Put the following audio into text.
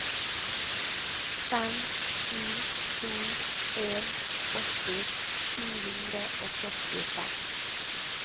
fem sju to en åtti sju hundre og førtifem